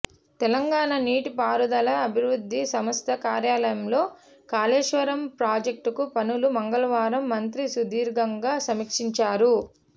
తెలంగాణ నీటిపారుదల అభివృద్ధి సంస్థ కార్యాలయంలో కాళేశ్వరం ప్రాజెక్టు పనులు మంగళవారం మంత్రి సుదీర్ఘంగా సమీక్షించారు